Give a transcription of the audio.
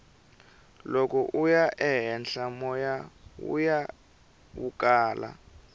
loko uya ehenhla moya wuya wu kala